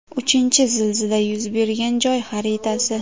Uchinchi zilzila yuz bergan joy xaritasi.